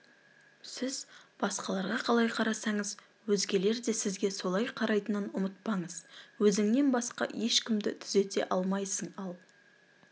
сіз басқаларға қалай қарасаңыз өзгелер де сізге солай қарайтынын ұмытпаңыз өзіңнен басқа ешкімді түзете алмайсың ал